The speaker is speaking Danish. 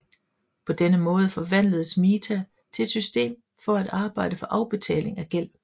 På denne måde forvandledes mita til et system for at arbejde for afbetaling af gæld